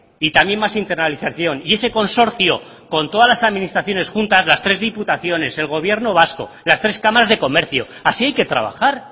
y también más internalización y ese consorcio con todas las administraciones juntas las tres diputaciones el gobierno vasco las tres cámaras de comercio así hay que trabajar